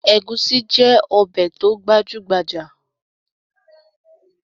Egusi jẹ́ ọbẹ̀ tó gbajúgbajà